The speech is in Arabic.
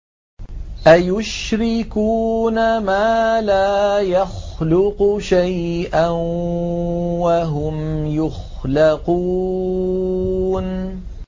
أَيُشْرِكُونَ مَا لَا يَخْلُقُ شَيْئًا وَهُمْ يُخْلَقُونَ